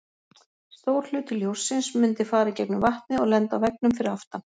Stór hluti ljóssins mundi fara í gegnum vatnið og lenda á veggnum fyrir aftan.